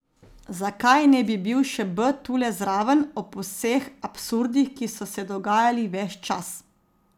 Zakaj ne bi bil še B tule zraven, ob vseh absurdih, ki so se dogajali ves čas?